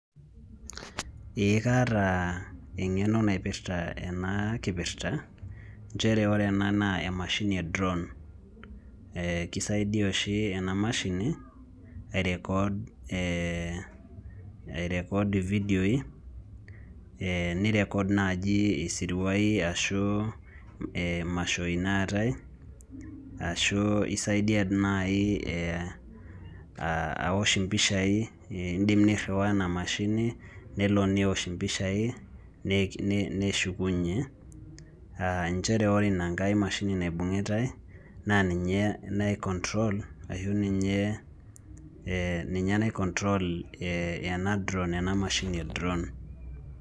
Ee kaata eng'eno naipirta ena kipirta, njere ore ena naa emashini e drawn. Kisaidia oshi ena mashini, ai record ividioi, ni record nai isiruai ashu imashoi naatai, ashu isaidia nai awosh impishai, idim nirriwaa ena mashini, nelo newosh impishai, neshukunye. Njere ore ina nkae mashini naibung'itai, na ninye nai control, ashu ninye, ninye nai control ena drawn, enamashini e drawn.